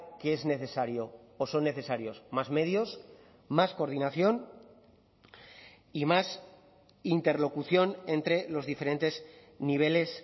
que es necesario o son necesarios más medios más coordinación y más interlocución entre los diferentes niveles